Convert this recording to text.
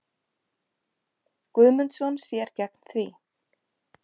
Guðmundsson sér gegn því.